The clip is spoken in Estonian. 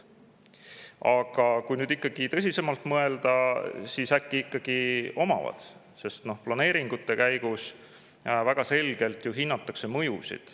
Aga kui nüüd tõsisemalt mõelda, siis äkki ikkagi omavad, sest planeeringute käigus väga selgelt ju hinnatakse mõjusid.